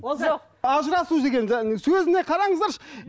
ажырасу дегенді сөзіне қараңыздаршы